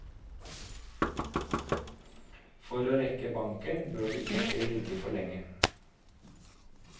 For å rekke banken, bør du ikke ligge for lenge.